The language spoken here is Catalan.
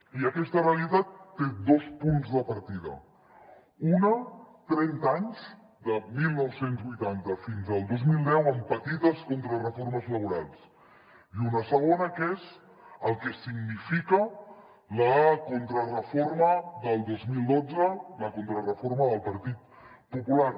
i aquesta realitat té dos punts de partida un trenta anys de dinou vuitanta fins al dos mil deu amb petites contrareformes laborals i un de segon que és el que significa la contrareforma del dos mil dotze la contrareforma del partit popular